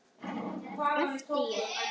æpti ég.